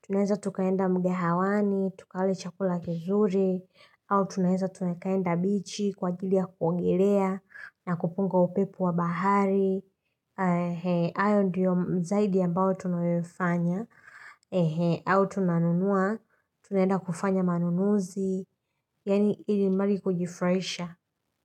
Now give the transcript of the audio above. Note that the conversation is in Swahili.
tunaeza tukaenda mkahawani, tukale chakula kizuri, au tunaeza tukaenda bichi kwa ajili ya kuogelea na kupunga upepo wa bahari, hayo ndiyo zaidi ambayo tunayofanya, au tunanunua, tunaenda kufanya manunuzi, yaani ilimradi kujifurahisha.